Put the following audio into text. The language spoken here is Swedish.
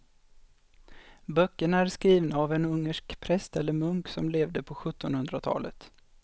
Böckerna är skrivna av en ungersk präst eller munk som levde på sjuttonhundratalet.